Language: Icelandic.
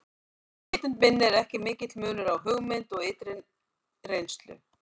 Í vitund minni er ekki mikill munur á hugmynd og ytri reynslu.